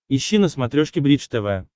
ищи на смотрешке бридж тв